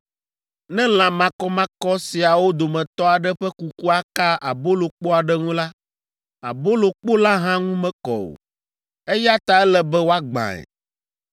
Ne lã makɔmakɔ siawo dometɔ aɖe ƒe kukua ka abolokpo aɖe ŋu la, abolokpo la hã ŋu mekɔ o, eya ta ele be woagbãe.